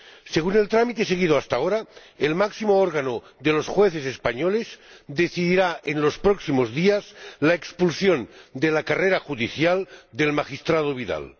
Según el trámite seguido hasta ahora, el máximo órgano de los jueces españoles decidirá en los próximos días la expulsión de la carrera judicial del magistrado Vidal.